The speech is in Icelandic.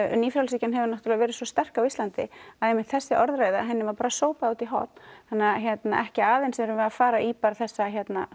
nýfrjálshyggjan hefur verið svo sterk á Íslandi að einmitt þessi orðræða var sópað út í horn þannig að ekki aðeins erum við að fara í þessa